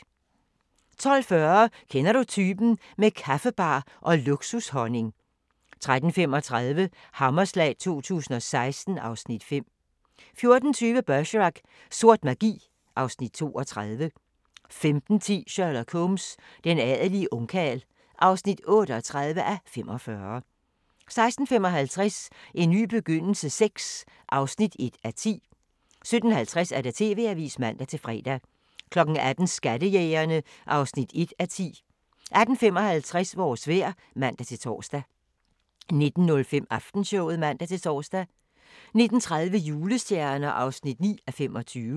12:40: Kender du typen? – med kaffebar og luksushonning 13:35: Hammerslag 2016 (Afs. 5) 14:20: Bergerac: Sort magi (Afs. 32) 15:10: Sherlock Holmes: Den adelige ungkarl (38:45) 16:55: En ny begyndelse VI (1:10) 17:50: TV-avisen (man-fre) 18:00: Skattejægerne (1:10) 18:55: Vores vejr (man-tor) 19:05: Aftenshowet (man-tor) 19:30: Julestjerner (9:25)